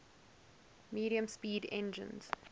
medium speed engines